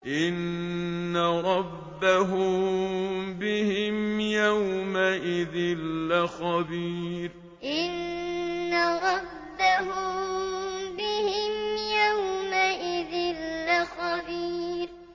إِنَّ رَبَّهُم بِهِمْ يَوْمَئِذٍ لَّخَبِيرٌ إِنَّ رَبَّهُم بِهِمْ يَوْمَئِذٍ لَّخَبِيرٌ